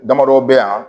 Damadɔ bɛ yan